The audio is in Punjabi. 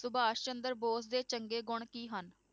ਸੁਭਾਸ਼ ਚੰਦਰ ਬੋਸ ਦੇ ਚੰਗੇ ਗੁਣ ਕੀ ਹਨ?